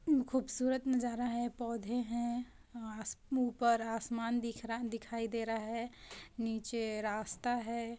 ये खूबसूरत नजारा है पौधे हैं आ-- अस-- ऊपर आसमान दिख रा दिखाई दे रहा है नीचे रास्ता है।